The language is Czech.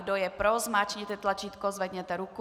Kdo je pro, zmáčkněte tlačítko, zvedněte ruku.